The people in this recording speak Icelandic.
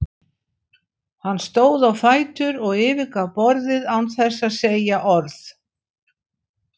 Hann stóð á fætur og yfirgaf borðið án þess að segja orð.